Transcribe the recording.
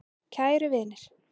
Kæru vinir.